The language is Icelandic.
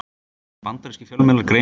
Bandarískir fjölmiðlar greina frá þessu